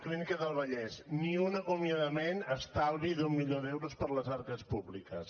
clínica del vallès ni un acomiadament estalvi d’un milió d’euros per a les arques públiques